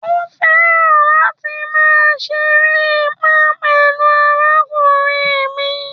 Ó̩ fẹran láti ma seeré pá pẹ̀lú àrákúnriń mí.